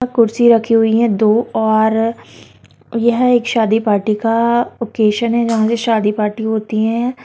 कुर्सी रखी हुई हैं दो और यह एक शादी पार्टी का ऑकेजन है जहां से शादी पार्टी होती है।